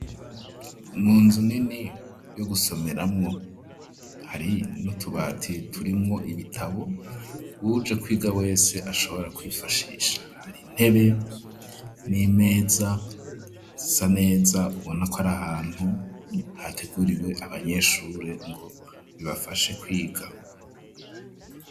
Munzu nini yo gusomeramo hari n'utubati turimwo ibitabo uwuje kwiga wese ashobora kwifashisha hari intebe n'imeza zisa neza ubonako ari ahantu hateguriwe abanyeshure ngo bibafashe kwiga.